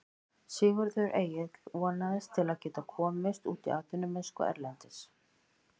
Sigurður Egill vonast til að geta komist út í atvinnumennsku erlendis.